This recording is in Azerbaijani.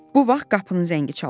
Bu vaxt qapının zəngi çalındı.